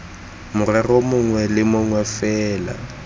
morero mongwe le mongwe fela